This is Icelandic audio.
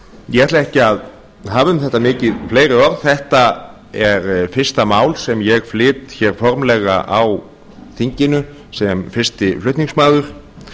ég ætla ekki að hafa um þetta mikið fleiri orð þetta er fyrsta mál sem ég flyt hér formlega á þinginu sem fyrsti flutningsmaður